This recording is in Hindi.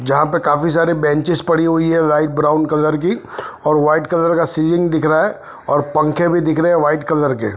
जहां पे काफी सारे बेंचेस पड़ी हुई है लाइट ब्राउन कलर की और वाइट कलर का सीलिंग दिख रहा है और पंखे भी दिख रहे है व्हाइट कलर के।